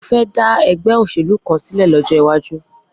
Mo fẹ́ dá ẹgbẹ́ òṣèlú kan sílẹ̀ lọ́jọ́ iwájú.